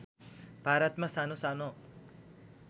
भारतमा सानो सानो